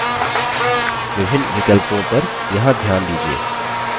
विभिन्न विकल्पों पर यहाँ ध्यान दीजिये